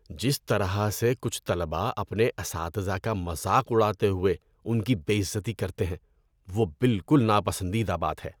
جس طرح سے کچھ طلبہ اپنے اساتذہ کا مذاق اڑاتے ہوئے ان کی بے عزتی کرتے ہیں وہ بالکل ناپسندیدہ بات ہے۔